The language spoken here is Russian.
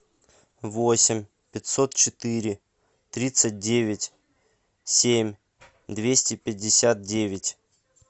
восемь пятьсот четыре тридцать девять семь двести пятьдесят девять